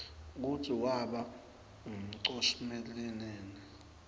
kutsi waba nqumonqsmelinini